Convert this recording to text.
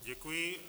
Děkuji.